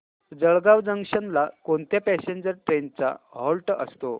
Jalgaon junction ला कोणत्या passenger trains चा हॉल्ट असतो